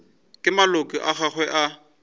ke maloko a mangwe a